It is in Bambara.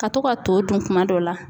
Ka to ka to dun kuma dɔ la